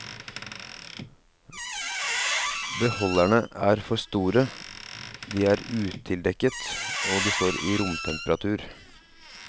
Beholderne er for store, de er utildekket, og de står i romtemperatur.